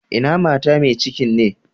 Ina mata mai cikin ne?